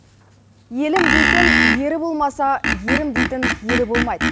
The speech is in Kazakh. елім дейтін ері болмаса ерім дейтін елі болмайды